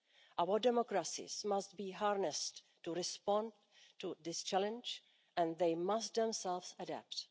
Our democracies must be harnessed to respond to this challenge and they must themselves adapt.